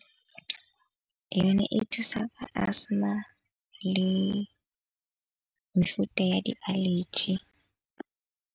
Yone e thusa ka asthma le mefuta ya di-allergy.